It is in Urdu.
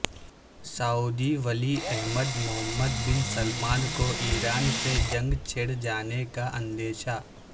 سعودی ولی عہد محمد بن سلمان کو ایران سے جنگ چھڑ جانے کا اندیشہ